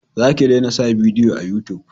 Za ka dena sa bidiyo a yutub